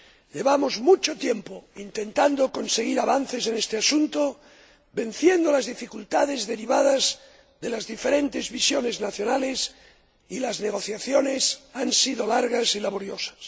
Llevamos mucho tiempo intentando conseguir avances en este asunto, venciendo las dificultades derivadas de las diferentes visiones nacionales, y las negociaciones han sido largas y laboriosas.